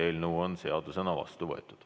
Eelnõu on seadusena vastu võetud.